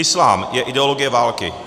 Islám je ideologie války.